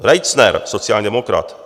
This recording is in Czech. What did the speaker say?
Reitzner, sociální demokrat.